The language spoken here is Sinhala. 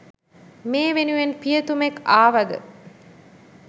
මේ වෙනුවෙන් පියතුමෙක් ආවද